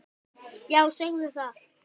Já, segðu það!